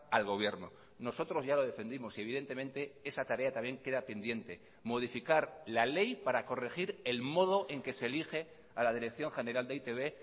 al gobierno nosotros ya lo defendimos y evidentemente esa tarea también queda pendiente modificar la ley para corregir el modo en que se elige a la dirección general de e i te be